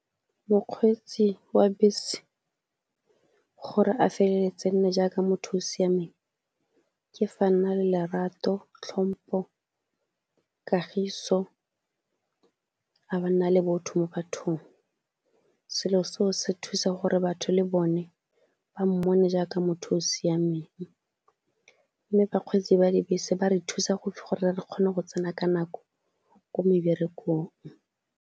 Mokgweetsi wa bese gore a feleletse nne jaaka motho o o siameng, ke fa nna le lerato, hlompo, kagiso a be a nma le botho mo bathong. Selo seo se thusa gore batho le bone ba mmone jaaka motho o o siameng, mme bakgweetsi ba dibese ba re thusa gore re kgone go tsena ka nako ko meberekong.